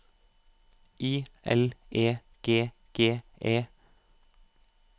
I L E G G E